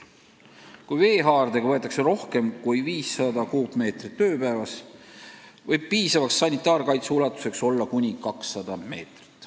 Kui vett võetakse rohkem kui 500 kuupmeetrit ööpäevas, võib piisava sanitaarkaitse ulatus olla kuni 200 meetrit.